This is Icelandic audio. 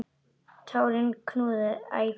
Tárin knúðu æ fastar á.